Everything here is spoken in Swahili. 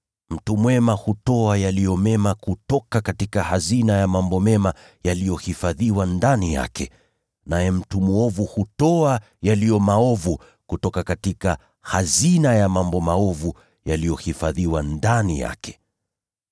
Mtu mwema hutoa yaliyo mema kutoka hazina ya mambo mema yaliyohifadhiwa ndani yake, naye mtu mwovu hutoa yaliyo maovu kutoka hazina ya mambo maovu yaliyohifadhiwa ndani yake.